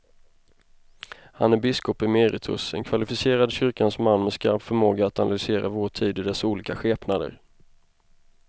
Han är biskop emeritus, en kvalificerad kyrkans man med skarp förmåga att analysera vår tid i dess olika skepnader.